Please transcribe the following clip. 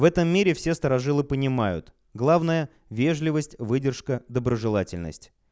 в этом мире все старожилы понимают главное вежливость выдержка доброжелательность